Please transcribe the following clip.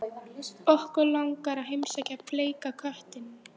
Okkur langar að heimsækja Bleika köttinn